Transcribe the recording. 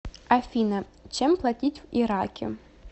афина чем платить в ираке